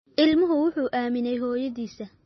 Ilmuhu wuxuu aaminay hooyadiis